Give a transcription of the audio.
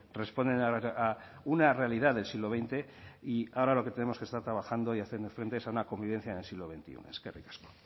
responden a una realidad del siglo veinte y ahora lo que tenemos que estar trabajando y haciendo frente es a una convivencia en el siglo veintiuno eskerrik asko